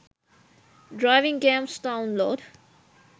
driving games download